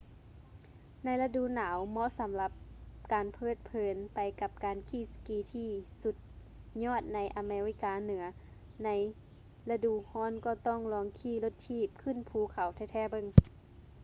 ໃນລະດູໜາວ ເໝາະສຳລັບການເພີດເພີນໄປກັບການຂີ່ສະກີທີ່ສຸດຍອດໃນອາເມລິກາເໜືອ ແລະ ໃນລະດູຮ້ອນກໍຕ້ອງລອງຂີ່ລົດຖີບຂຶ້ນພູເຂົາແທ້ໆເບິ່ງ